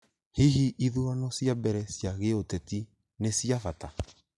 Hihi ithurano cia mbere cia gĩũteti nĩ cia bata?